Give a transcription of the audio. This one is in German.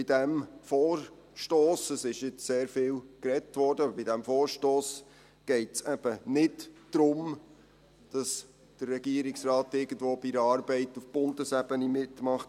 Bei diesem Vorstoss – es wurde jetzt sehr viel gesprochen – geht es eben nicht darum, dass der Regierungsrat irgendwo bei einer Arbeit auf Bundesebene mitmacht.